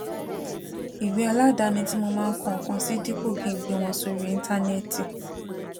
ìwé aládani tí mo máa ń kọ nǹkan sí dípò kí n gbé wọn sórí íńtánéètì